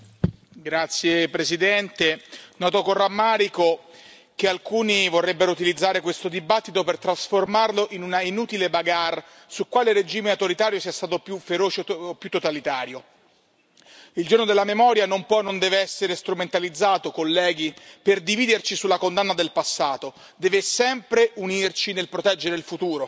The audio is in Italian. Signora Presidente, onorevoli colleghi, noto con rammarico che alcuni vorrebbero utilizzare questa discussione per trasformarla in una inutile bagarre su quale regime autoritario sia stato più feroce o più totalitario. Il giorno della memoria non può e non deve essere strumentalizzato, colleghi, per dividerci sulla condanna del passato deve sempre unirci nel proteggere il futuro.